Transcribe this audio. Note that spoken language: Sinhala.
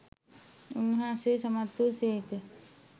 උන්වහන්සේ සමත් වූ සේක.